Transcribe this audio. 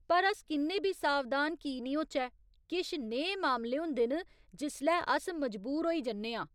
पर अस किन्ने बी सावधान की निं होचै, किश नेहे मामले होंदे न जिसलै अस मजबूर होई जन्ने आं।